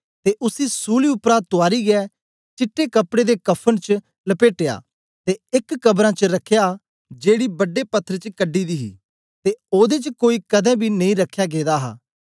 ते उसी सूली उपरा तुयारियै चिट्टे कपड़े दे कफ़न च लपेटया ते एक कबरां च रखया जेड़ी बड़े पत्थर च कढी दी ही ते ओदे च कोई कदें बी नेई रखया गेदा हा